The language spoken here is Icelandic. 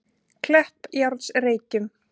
Kleppjárnsreykjum